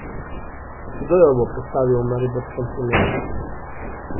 Kdo jo bo postavil v mariborskem primeru?